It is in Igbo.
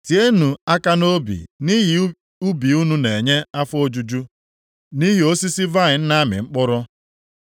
Tienụ aka nʼobi nʼihi ubi unu na-enye afọ ojuju, nʼihi osisi vaịnị na-amị mkpụrụ.